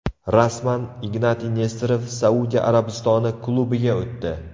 Rasman: Ignatiy Nesterov Saudiya Arabistoni klubiga o‘tdi.